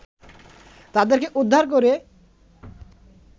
তাদেরকে উদ্ধার করে